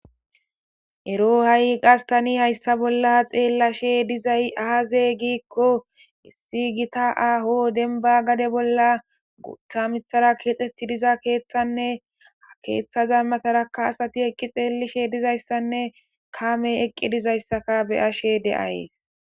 ero ha7i qastani hayssa bolla xeellashe dizay aazey giikko issi gita aaho denba gade bolla gutha mitara keexxetti diza keeththanne ha keeththaza matarakka asati eqqi xeellishe dizayssanne kaame eqqi dizayssaka beyashe de7ays